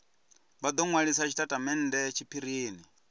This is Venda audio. vha do nwalisa tshitatamennde tshiphirini